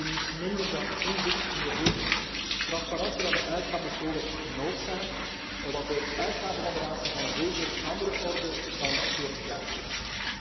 We willen niets minder dan inzicht in de rekeningen. Transparantie van de uitgaven is gewoonweg noodzaak, want de uitgaven van de Raad zijn van een wezenlijk andere orde dan veertig jaar geleden.